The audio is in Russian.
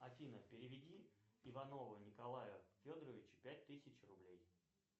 афина переведи иванову николаю федоровичу пять тысяч рублей